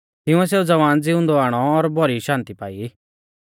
तिंउऐ सेऊ ज़वान ज़िउंदौ आणौ और भौरी शान्ति पाई